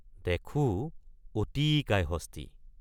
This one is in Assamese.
দেখোঁ — অতিকায় হস্তী।